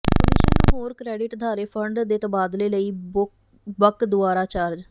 commission ਨੂੰ ਹੋਰ credit ਅਦਾਰੇ ਫੰਡ ਦੇ ਤਬਾਦਲੇ ਲਈ ਬਕ ਦੁਆਰਾ ਚਾਰਜ